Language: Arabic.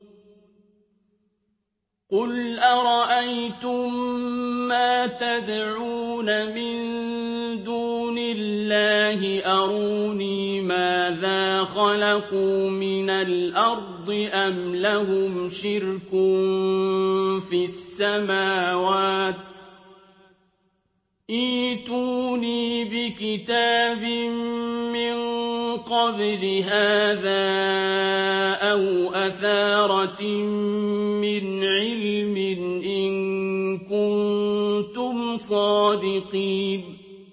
قُلْ أَرَأَيْتُم مَّا تَدْعُونَ مِن دُونِ اللَّهِ أَرُونِي مَاذَا خَلَقُوا مِنَ الْأَرْضِ أَمْ لَهُمْ شِرْكٌ فِي السَّمَاوَاتِ ۖ ائْتُونِي بِكِتَابٍ مِّن قَبْلِ هَٰذَا أَوْ أَثَارَةٍ مِّنْ عِلْمٍ إِن كُنتُمْ صَادِقِينَ